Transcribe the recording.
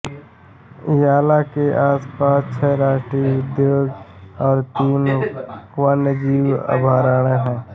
याला के आसपास छह राष्ट्रीय उद्यान और तीन वन्यजीव अभयारण्य हैं